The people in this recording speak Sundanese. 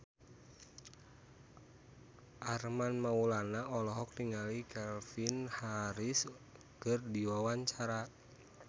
Armand Maulana olohok ningali Calvin Harris keur diwawancara